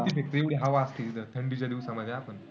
फेकते, एवढी हवा असते तिथं. थंडीच्या दिवसामध्ये आपण